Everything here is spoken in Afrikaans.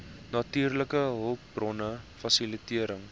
natuurlike hulpbronne fasilitering